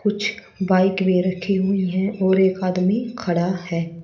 कुछ बाइक भी रखी हुई हैं और एक आदमी खड़ा है।